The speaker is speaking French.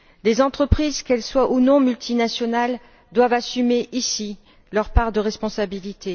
Les entreprises, qu'elles soient ou non multinationales, doivent assumer ici leur part de responsabilité.